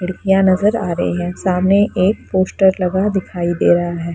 खिड़कियां नजर आ रही है सामने एक पोस्टर लगा दिखाई दे रहा है।